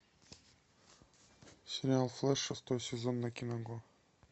сериал флэш шестой сезон на киного